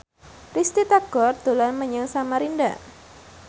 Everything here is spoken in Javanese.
Risty Tagor dolan menyang Samarinda